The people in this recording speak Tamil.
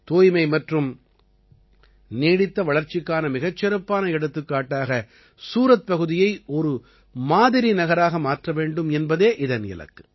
தூய்மை மற்றும் நீடித்த வளர்ச்சிக்கான மிகச் சிறப்பான எடுத்துக்காட்டாக சூரத் பகுதியை ஒரு மாதிரிநகராக மாற்ற வேண்டும் என்பதே இதன் இலக்கு